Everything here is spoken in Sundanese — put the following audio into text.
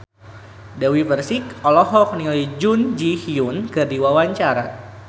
Dewi Persik olohok ningali Jun Ji Hyun keur diwawancara